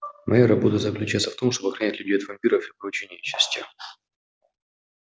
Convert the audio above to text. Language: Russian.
моя работа заключается в том чтобы охранять людей от вампиров и прочей нечисти